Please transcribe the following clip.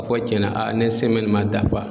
Kɔ cɛn na a ne semɛni ma dafa